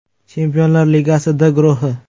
Chempionlar Ligasi “D” guruhi.